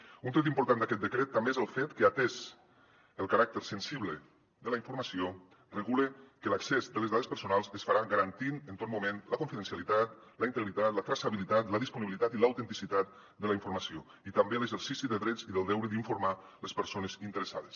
un tret important d’aquest decret també és el fet que atès el caràcter sensible de la informació regula que l’accés de les dades personals es farà garantint en tot moment la confidencialitat la integritat la traçabilitat la disponibilitat i l’autenticitat de la informació i també l’exercici de drets i del deure d’informar les persones interessades